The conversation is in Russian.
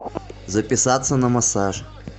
записаться на массаж